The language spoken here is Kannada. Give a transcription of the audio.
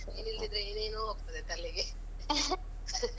ಇಲ್ದಿದ್ರೆ ಏನೇನೋ ಹೋಗ್ತದೆ ತಲೆಗೆ